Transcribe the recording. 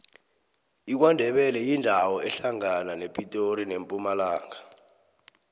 ikwandebele yindawo ehlangana nepitori nempumalanga